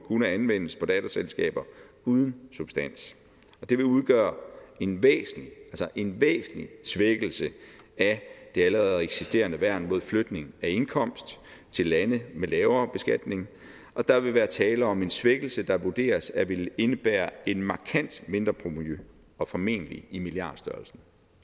kunne anvendes på datterselskaber uden substans og det vil udgøre en væsentlig en væsentlig svækkelse af det allerede eksisterende værn mod flytning af indkomst til lande med lavere beskatning og der vil være tale om en svækkelse der vurderes at ville indebære et markant mindre provenu og formentlig i milliardstørrelsen